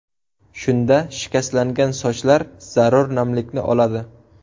Shunda shikastlangan sochlar zarur namlikni oladi.